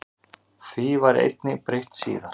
Því var einnig breytt síðar.